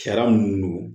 Sariya minnu don